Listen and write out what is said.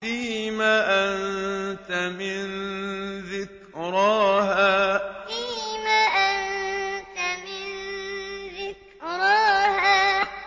فِيمَ أَنتَ مِن ذِكْرَاهَا فِيمَ أَنتَ مِن ذِكْرَاهَا